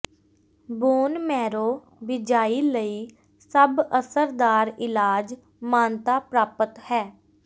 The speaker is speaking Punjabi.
ਬੋਨ ਮੈਰੋ ਬਿਜਾਈ ਲਈ ਸਭ ਅਸਰਦਾਰ ਇਲਾਜ ਮਾਨਤਾ ਪ੍ਰਾਪਤ ਹੈ